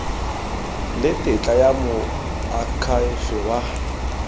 le tetla ya moakhaefe wa